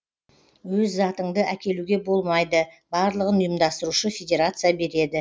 өз затыңды әкелуге болмайды барлығын ұйымдастырушы федерация береді